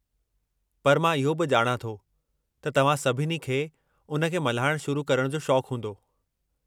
पर मां इहो बि ॼाणां थो त तव्हां सभिनी खे उन खे मल्हाइणु शुरू करणु जो शौक़ हूंदो।